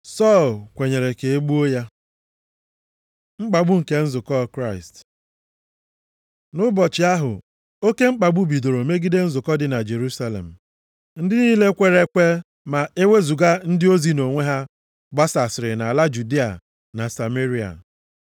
Sọl kwenyere ka e gbuo ya. Mkpagbu nke nzukọ Kraịst Nʼụbọchị ahụ, oke mkpagbu bidoro megide nzukọ dị na Jerusalem. Ndị niile kwere ekwe, ma ewezuga ndị ozi nʼonwe ha gbasasịrị nʼala Judịa na Sameria.